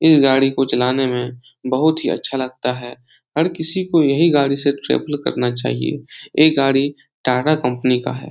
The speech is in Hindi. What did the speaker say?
ई गाड़ी को चलाने में बहुत ही अच्छा लगता है। हर किसी को यही गाड़ी से ट्रेवल करना चाहिए। ई गाड़ी टाटा कंपनी का है।